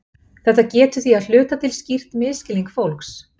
Þetta getur því að hluta til skýrt misskilning fólks.